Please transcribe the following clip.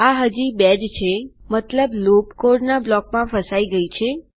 આ હજી ૨ જ છેમતલબ લૂપ કોડના બ્લોકમાં ફસાઈ ગયી છે